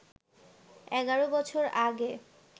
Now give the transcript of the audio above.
এগারো বছর আগে